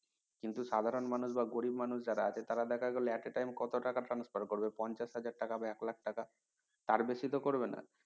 কিন্তু সাধারণ মানুষ বা গরিব মানুষ যারা আছে তারা দেখা গেলো at a time কত টাকা transfer করবে পঞ্চাশ হাজার টাকা হবে এক লাখ টাকা তার বেশি তো করবেন